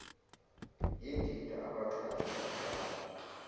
yindida abaxhasi baqala